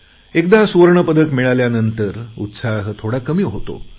एकदा सुवर्णपदक मिळाल्यानंतर उत्साह थोडा कमी होतो